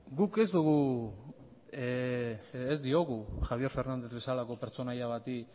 guk ez diogu javier fernández bezalako pertsonaia bati